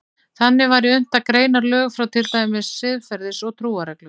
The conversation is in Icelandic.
Þannig væri unnt að greina lög frá til dæmis siðferðis- og trúarreglum.